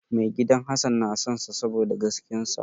Maigidan Hassan na sonsa saboda gaskiyar sa.